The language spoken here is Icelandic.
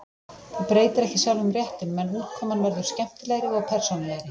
Það breytir ekki sjálfum réttinum, en útkoman verður skemmtilegri og persónulegri.